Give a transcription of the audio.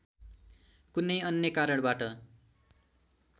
कुनै अन्‍य कारणबाट